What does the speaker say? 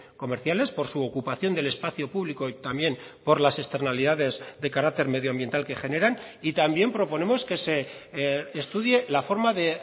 comerciales por su ocupación del espacio público y también por las externalidades de carácter medioambiental que generan y también proponemos que se estudie la forma de